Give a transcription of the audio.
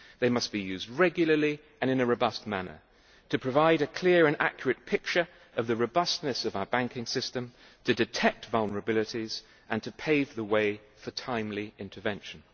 They must be used regularly and in a robust manner to provide a clear and accurate picture of the robustness of our banking system, to detect vulnerabilities and to pave the way for timely intervention.